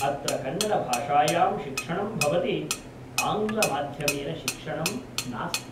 अत्र कन्नडभाषायां शिक्षणं भवति आङ्ग्लमाध्यमेन शिक्षणं नास्ति